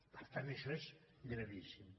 per tant això és gravíssim